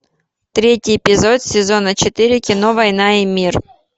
третий эпизод сезона четыре кино война и мир